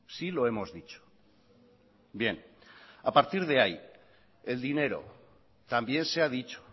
sí lo hemos dicho bien a partir de ahí el dinero también se ha dicho